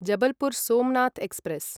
Jabalpur Somnath express